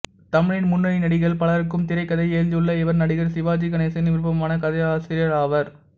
தமிழின் முன்னணி நடிகர்கள் பலருக்கும் திரைக்கதை எழுதியுள்ள இவர் நடிகர் சிவாஜி கணேசனின் விருப்பமான கதையாசிரியர் ஆவார்